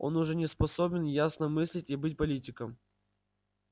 он уже не способен ясно мыслить и быть политиком